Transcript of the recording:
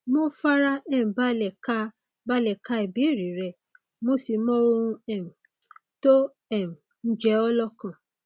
mo fara um balẹ ka balẹ ka ìbéèrè rẹ mo sì mọ ohun um tó um ń jẹ ọ lọkàn